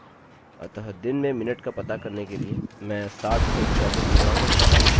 अतः दिन में मिनट का पता करने के लिए मैं 60 से 24 गुणा करता हूँ